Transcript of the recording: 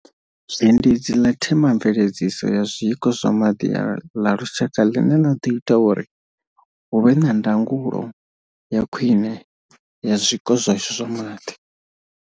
Zhendedzi ḽa themamveledziso ya zwiko zwa maḓi ḽa lushaka ḽine ḽa ḓo ita uri hu vhe na ndangulo ya khwine ya zwiko zwashu zwa maḓi.